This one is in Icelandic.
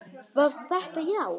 Var þetta já?